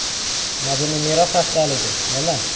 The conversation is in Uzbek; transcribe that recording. Madaniy meros haftaligi: Nima?